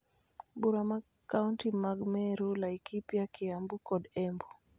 Bura mag kaonti mag Meru, Laikipia, Kiambu kod Embu